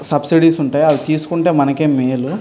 Subsidies ఉంటాయి. అవి తీసుకుంటే మనకే మేలు --